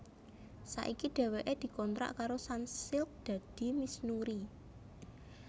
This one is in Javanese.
Saiki dhéwéké dikontrak karo Sunsilk dadi Miss Nuri